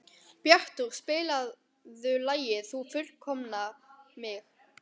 Bjartur, spilaðu lagið „Þú fullkomnar mig“.